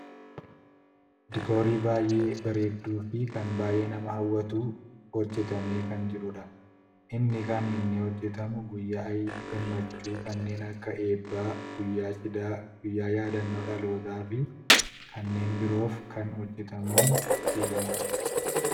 diikoorii baayyee bareeduufi kan baayyee nama hawwatutu hojjatamee kan jirudha. inni kan inni hojjatamu guyyaa gammachuu kanneen akka eebbaa, guyyaa cidhaa, guyyaa yaaddannoo dhalootaa fi kanneen biroof kan hojjatamuun beekkamudha.